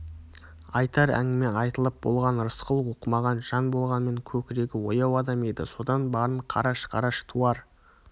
айтар әңгіме айтылып болған рысқұл оқымаған жан болғанмен көкірегі ояу адам еді содан барын қараш-қараш туар